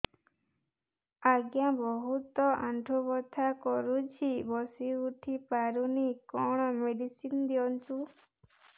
ଆଜ୍ଞା ବହୁତ ଆଣ୍ଠୁ ବଥା କରୁଛି ବସି ଉଠି ପାରୁନି କଣ ମେଡ଼ିସିନ ଦିଅନ୍ତୁ